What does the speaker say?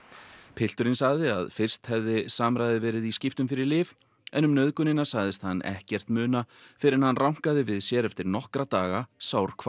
pilturinn sagði að fyrst hefði verið í skiptum fyrir lyf en um nauðgunina sagðist hann ekkert muna fyrr en rankaði við sér eftir nokkra daga